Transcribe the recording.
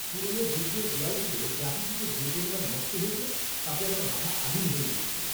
পুরনো দুর্গের দেয়ালগুলো গ্রাফিতিতে যে পরিমাণ নষ্ট হয়েছে তাতে আমার মাথা আগুন হয়ে গেছিল।